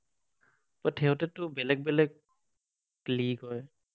But সিহঁতেতো বেলেগ বেলেগ league হয়?